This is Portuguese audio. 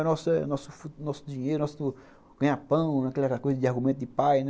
É o nosso nosso dinheiro, nosso nosso ganhar pão, né, aquela coisa de argumento de pai, né?